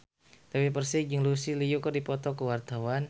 Dewi Persik jeung Lucy Liu keur dipoto ku wartawan